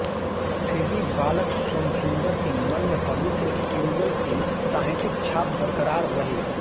फिर भी बालक सोमसुंदर के मन में पवित्र युगल की साहित्यिक छाप बरकरार रही